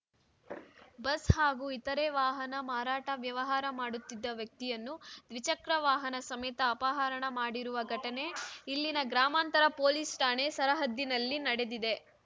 bus ಹಾಗೂ ಇತರೆ ವಾಹನ ಮಾರಾಟ ವ್ಯವಹಾರ ಮಾಡುತ್ತಿದ್ದ ವ್ಯಕ್ತಿಯನ್ನು ದ್ವಿಚಕ್ರ ವಾಹನ ಸಮೇತ ಅಪಹರಣ ಮಾಡಿರುವ ಘಟನೆ ಇಲ್ಲಿನ ಗ್ರಾಮಾಂತರ ಪೊಲೀಸ್ ಠಾಣೆ ಸರಹದ್ದಿನಲ್ಲಿ ನಡೆದಿದೆ